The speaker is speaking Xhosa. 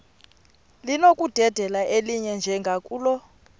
linokudedela elinye njengakule